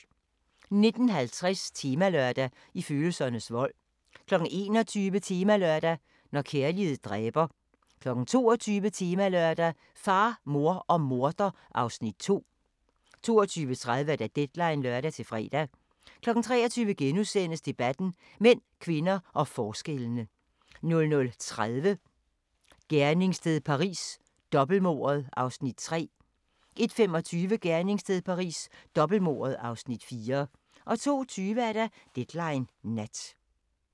19:50: Temalørdag: I følelsernes vold 21:00: Temalørdag: Når kærlighed dræber 22:00: Temalørdag: Far, mor og morder (Afs. 2) 22:30: Deadline (lør-fre) 23:00: Debatten: Mænd, kvinder og forskellene * 00:30: Gerningssted Paris: Dobbeltmordet (Afs. 3) 01:25: Gerningssted Paris: Dobbeltmordet (Afs. 4) 02:20: Deadline Nat